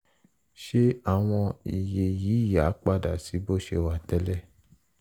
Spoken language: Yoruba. ṣé àwọn iye yìí á padà sí bó ṣe wà tẹ́lẹ̀?